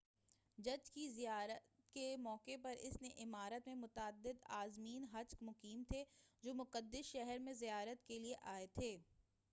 حج کی زیارت کے موقع پر اس عمارت میں متعدد عازمین حج مقیم تھے جو مقدس شہر میں زیارت کیلئے آئے تھے